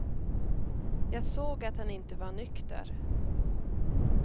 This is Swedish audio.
Jag såg att han inte var nykter.